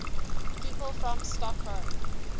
people from stockholm